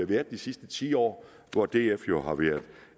været de sidste ti år hvor df jo har været